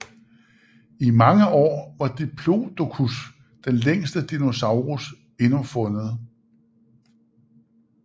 I mange år var Diplodocus den længste dinosaurus endnu fundet